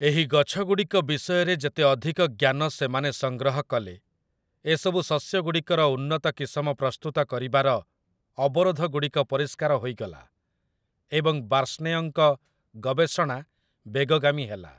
ଏହି ଗଛଗୁଡ଼ିକ ବିଷୟରେ ଯେତେ ଅଧିକ ଜ୍ଞାନ ସେମାନେ ସଂଗ୍ରହ କଲେ, ଏସବୁ ଶସ୍ୟଗୁଡ଼ିକର ଉନ୍ନତ କିସମ ପ୍ରସ୍ତୁତ କରିବାର ଅବରୋଧଗୁଡ଼ିକ ପରିଷ୍କାର ହୋଇଗଲା, ଏବଂ ବାର୍ଷ୍ଣେୟଙ୍କ ଗବେଷଣା ବେଗଗାମୀ ହେଲା ।